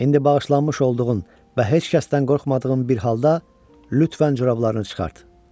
İndi bağışlanmış olduğun və heç kəsdən qorxmadığın bir halda, lütfən corablarını çıxart.